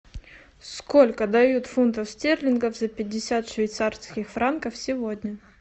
сколько дают фунтов стерлингов за пятьдесят швейцарских франков сегодня